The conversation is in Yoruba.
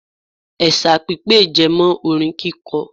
Ẹ̀sà pipè jẹmọ́ orin kíkọ.